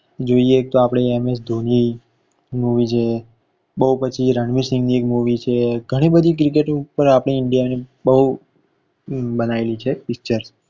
જોઈએ તો આપડે m s dhoni movie છે. બોવ પછી રણવીરસિંહ ની એક movie છે ઘણી બધી cricket ઉપર આપડે india ની બોવ બનાવેલી છે. picture